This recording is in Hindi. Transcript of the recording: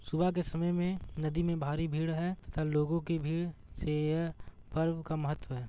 सुबह के समय में नदी में भारी भीड़ हैं तथा लोगो की भीड़ से यह पर्व का महत्व है।